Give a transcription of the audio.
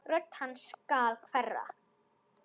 Rödd hans skal hverfa.